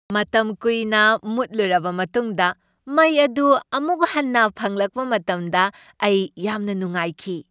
ꯃꯇꯝ ꯀꯨꯏꯅ ꯃꯨꯠꯂꯨꯔꯕ ꯃꯇꯨꯡꯗ ꯃꯩ ꯑꯗꯨ ꯑꯃꯨꯛ ꯍꯟꯅ ꯐꯪꯂꯛꯄ ꯃꯇꯝꯗ ꯑꯩ ꯌꯥꯝꯅ ꯅꯨꯡꯉꯥꯏꯈꯤ꯫